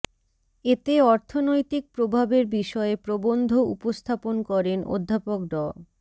এতে অর্থনৈতিক প্রভাবের বিষয়ে প্রবন্ধ উপস্থাপন করেন অধ্যাপক ড